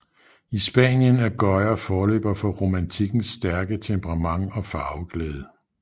I Spanien er Goya forløber for romantikkens stærke temperament og farveglæde